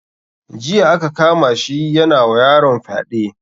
Jiya aka kama shi yana wa yaron fyade